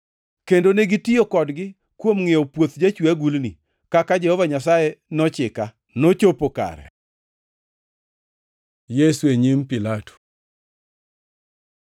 kendo negitiyo kodgi kuom ngʼiewo puoth jachwe agulni, kaka Jehova Nyasaye nochika,” + 27:10 \+xt Zek 11:12,13; Jer 19:1-13; 32:6-9\+xt* nochopo kare. Yesu e nyim Pilato